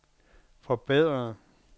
forbedre